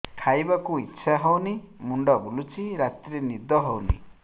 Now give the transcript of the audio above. ଖାଇବାକୁ ଇଛା ହଉନି ମୁଣ୍ଡ ବୁଲୁଚି ରାତିରେ ନିଦ ହଉନି